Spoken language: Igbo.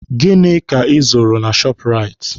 Gịnị ka ị zụrụ na shọọpụraiti?